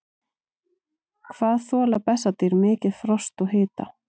hvað þola bessadýr mikið frost og hita